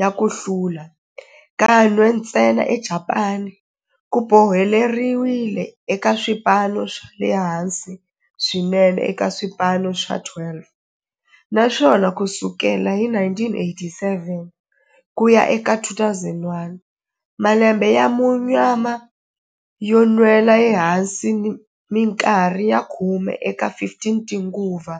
ya ku hlula, kan'we ntsena eJapani ku boheleriwile eka swipano swa le hansi swinene eka swipano swa 12, naswona ku sukela hi 1987 ku ya eka 2001, malembe ya munyama yo nwela ehansi minkarhi ya khume eka 15 tinguva.